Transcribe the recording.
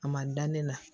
A ma da ne la